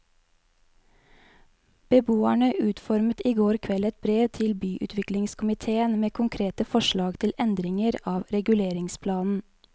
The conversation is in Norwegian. Beboerne utformet i går kveld et brev til byutviklingskomitéen med konkrete forslag til endringer av reguleringsplanen.